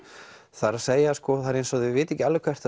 það er það er eins og þau viti ekki alveg hvert